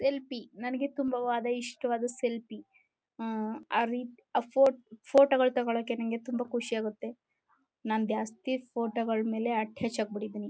Selfie ನನಗೆ ತುಂಬಾ ವಾದ ಇಷ್ಟವಾದ ಸೆಲ್ಫಿ ಅಹ್ ಅಹ್ ಅಹ್ ಆರಿ ಅಹ್ ಅಹ್ ಅಹ್ ಆ ಫೋಟೋ ಫೋಟೋಗಳು ತೊಗೊಳಕ್ಕೆ ನನಗೆ ತುಂಬಾ ಖುಷಿ ಆಗುತ್ತೆ ನಾನು ಜಾಸ್ತಿ ಫೋಟೋಗಳ ಮೇಲೆ ಅಟ್ಯಾಚ್ ಆಗ್ಬಿಟ್ಟಿದೀನಿ.